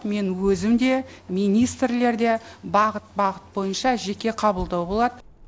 мен өзім де министрлер де бағыт бағыт бойынша жеке қабылдау болады